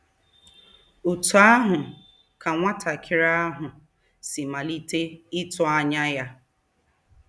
Otú ahụ ka nwatakịrị ahụ si malite ịtụ anya ya.